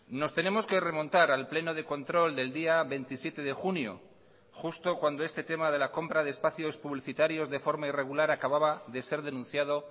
nos tenemos que remontar al pleno de control del día veintisiete de junio justo cuando este tema de la compra de espacios publicitarios de forma irregular acababa de ser denunciado